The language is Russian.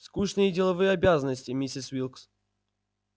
скучные деловые обязанности миссис уилкс